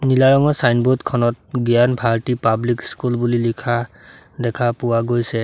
নীলা ৰঙৰ ছাইনবোৰ্ড খনত জ্ঞান ভাৰতী পাব্লিক স্কুল বুলি লিখা দেখা পোৱা গৈছে।